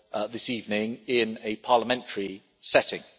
this evening in a parliamentary setting.